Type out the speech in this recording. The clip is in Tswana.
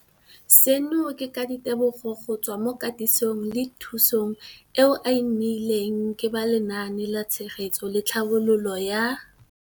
Seno ke ka ditebogo go tswa mo katisong le thu song eo a e neilweng ke ba Lenaane la Tshegetso le Tlhabololo ya